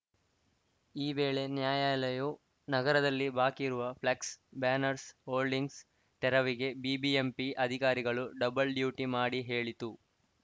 ಈ ವೇಳೆ ನ್ಯಾಯಾಲಯವು ನಗರದಲ್ಲಿ ಬಾಕಿ ಇರುವ ಫ್ಲೆಕ್ಸ್‌ ಭ್ಯಾನರ್ಸ್ ಹೋಡಿಂಗ್ಸ್‌ ತೆರವಿಗೆ ಬಿಬಿಎಂಪಿ ಅಧಿಕಾರಿಗಳು ಡಬ್ಬಲ್‌ ಡ್ಯೂಟಿ ಮಾಡಿ ಹೇಳಿತು